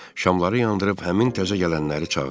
Şamları yandırıb həmin təzə gələnləri çağırdılar.